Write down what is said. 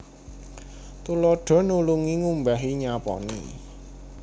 Tuladha nulungi ngumbahi nyaponi